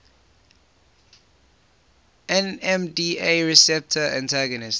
nmda receptor antagonists